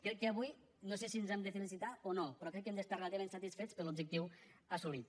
crec que avui no sé si ens hem de felicitar o no però crec que hem d’estar relativament satisfets per l’objectiu assolit